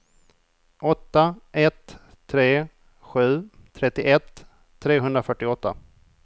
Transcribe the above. åtta ett tre sju trettioett trehundrafyrtioåtta